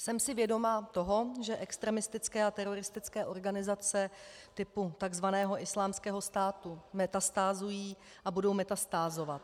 Jsem si vědoma toho, že extremistické a teroristické organizace typu tzv. Islámského státu metastázují a budou metastázovat.